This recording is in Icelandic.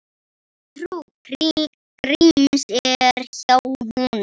Trú Gríms er hjá honum.